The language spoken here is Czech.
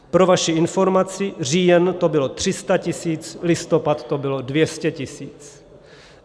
Pro vaši informaci, říjen to bylo 300 tisíc, listopad to bylo 200 tisíc.